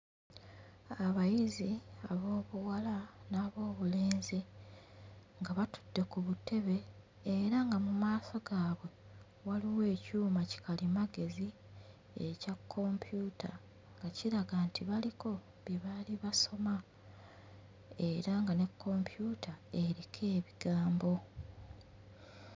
Abayizi ab'obuwala n'ab'obulenzi nga batudde ku butebe era nga mu maaso gaabwe waliwo ekyuma kikalimagezi ekya kompyuta nga kiraga nti baliko bye baali basoma era nga ne kompyuta eriko ebigambo.